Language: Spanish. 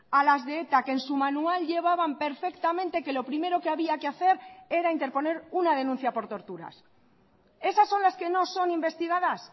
a las de eta que en su manual llevaban perfectamente que lo primero que había que hacer era interponer una denuncia por torturas esas son las que no son investigadas